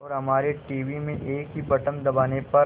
और हमारे टीवी में एक ही बटन दबाने पर